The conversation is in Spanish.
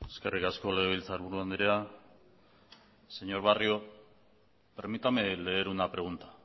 eskerrik asko legebiltzarburu andrea señor barrio permítame leer una pregunta